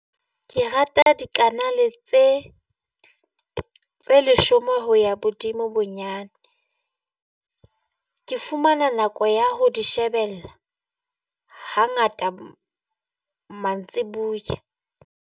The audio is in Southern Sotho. Ke rata dikanale tse tseleshome ho ya bodimo bonyane, ke fumana nako ya ho di shebella hangata mantsibuya.